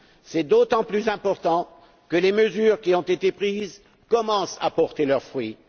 C'est d'autant plus important que les mesures qui ont été prises commencent à porter leurs fruits.